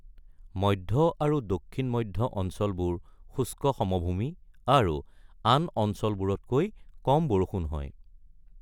মধ্য আৰু দক্ষিণ-মধ্য অঞ্চলবোৰ শুষ্ক সমভূমি আৰু আন অঞ্চলবোৰতকৈ কম বৰষুণ হয়।